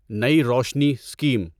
نئی روشنی اسکیم